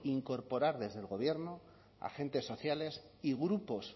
incorporar desde el gobierno agentes sociales y grupos